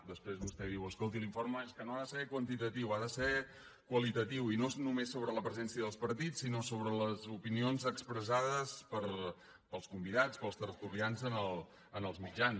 després vostè diu escolti l’informe és que no ha de ser quantitatiu ha de ser qualitatiu i no és només sobre la presència del partits sinó sobre les opinions expressades pels convidats pels tertulians en els mitjans